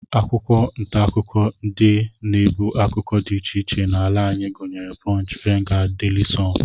Akwụkwọ ntaakụkọ ndị na-ebu akụkọ dị iche iche n'ala anyị gụnyere punch, vanguard, daily sun